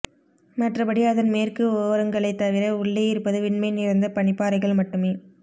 மற்றபடி அதன் மேற்கு ஓரங்களைத் தவிர உள்ளே இருப்பது வெண்மை நிறைந்த பனிப்பாறைகள் மட்டுமே